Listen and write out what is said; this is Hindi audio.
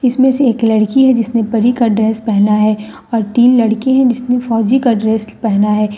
इसमें से एक लड़की है जिसने परी का ड्रेस पहना है और तीन लड़के हैं जिसने फौजी का ड्रेस पहना है ।